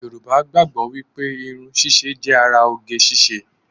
Yorùbá gbàgbọ́ wípé irun ṣíṣe jẹ́ ara oge ṣíṣe